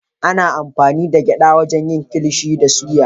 Ana amfani da gyada wajen yin kilishi da suya